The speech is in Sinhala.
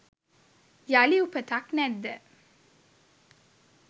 යළි උපතක් නැද්ද